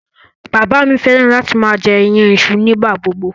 Bàbá mi fẹ́ràn láti máa jẹ iyan iṣu nígbà gbogbo.